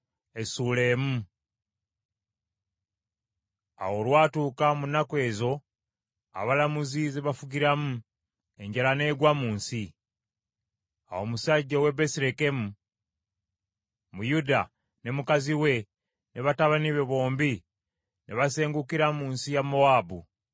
Awo olwatuuka mu nnaku ezo abalamuzi ze baafugiramu, enjala n’egwa mu nsi. Awo omusajja ow’e Besirekemu mu Yuda ne mukazi we, ne batabani be bombi, ne basengukira mu nsi ya Mowaabu.